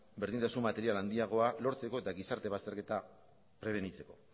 berdintasun material handiagoa lortzeko eta gizarte bazterketa prebenitzeko